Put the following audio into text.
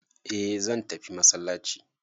eh zan tafi masallaci